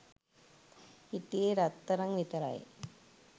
හිටියේ රත්තරං විතරයි.